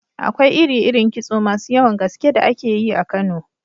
Akwai iri-irin kitso masu yawan gaske da ake yi a Kano.